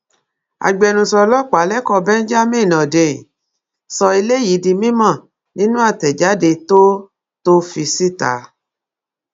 agbẹnusọ ọlọpàá lẹkọọ benjamin hondnyin sọ eléyìí di mímọ nínú àtẹjáde tó tó fi síta